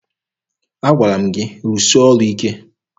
Agwara m gị rụsịa ọrụ ike!